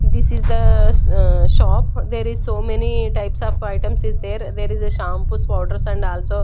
This is the shop there is so many types of items is there there is a shampoos powders and also--